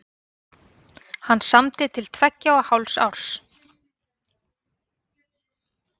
Hann samdi til tveggja og hálfs árs.